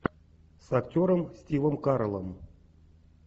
с актером стивом кареллом